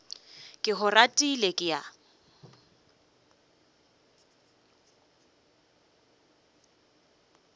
ke go ratile ke a